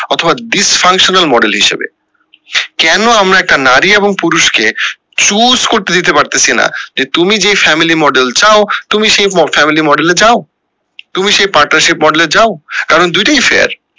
অথবা dysfunctional model হিসাবে কেন আমরা একটা নারী এবং পুরুষ কে choose করেত দিতে পারতেসি না যে তুমি যেই family model চাও তুমি সেই family model এ যাও তুমি সেই partnership model এ যাও কারণ দুইটাই fair